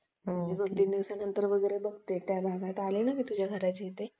दोन-तीन दिवसात बघते त्या भागात आले ना तुझ्या घराच्या इथे